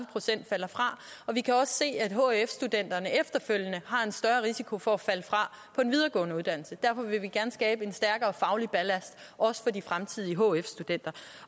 procent falder fra og vi kan også se at hf studenterne efterfølgende har en større risiko for at falde fra på en videregående uddannelse derfor vil vi gerne skabe en stærkere faglig ballast også for de fremtidige hf studenter